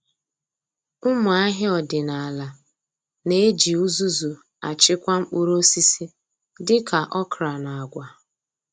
Ụmụ ahịa ọdịnala na-eji uzuzu achịkwa mkpụrụ osisi dị ka okra na agwa.